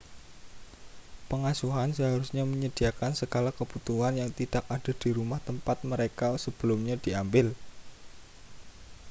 pengasuhan seharusnya menyediakan segala kebutuhan yang tidak ada di rumah tempat mereka sebelumnya diambil